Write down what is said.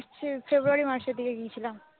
March February মাসের দিকে গিয়েছিলাম ।